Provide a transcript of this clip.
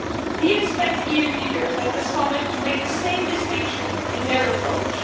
We expect EU leaders at the Summit to make the same distinction in their approach.